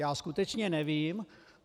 Já skutečně nevím.